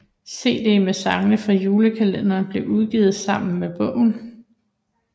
CD med sangene fra julekalenderen blev udgivet sammen med bogen